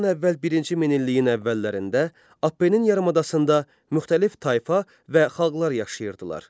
Eradan əvvəl birinci minilliyin əvvəllərində Apnenin yarımadasında müxtəlif tayfa və xalqlar yaşayırdılar.